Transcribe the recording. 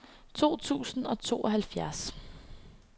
to tusind og tooghalvfjerds